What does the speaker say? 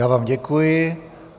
Já vám děkuji.